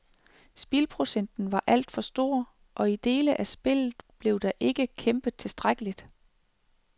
Spildprocenten var alt for stor, og i dele af spillet blev der ikke kæmpet tilstrækkeligt.